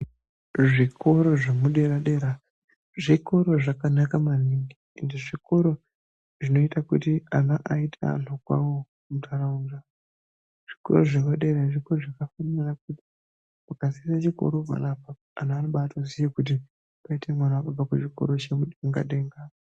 Zvikora zvepadera dera zvikora zvakanaka maningi ende zvikora zvinoita kuti ana aite antu kwawo mundaraunda zvikora zvinoda muntu akasiya chikora panaapa vantu vanoziva kuti kune asiya chikora.